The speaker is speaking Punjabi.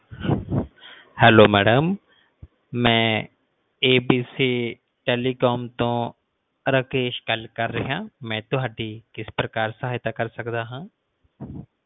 hello ਮੈਡਮ ਮਈ ABCTelecom ਤੋਂ ਰਾਕੇਸ਼ ਗੱਲ ਕਰ ਰਿਹਾ ਮਈ ਤੁਹਾਡੀ ਕਿਸ ਪ੍ਰਕਾਰ ਸਹਾਇਤਾ ਕਰ ਸਕਦਾ ਆ